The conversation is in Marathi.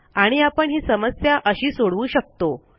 आणि आपण ही समस्या अशी सोडवू शकतो